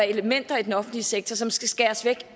elementer i den offentlige sektor som skal skæres væk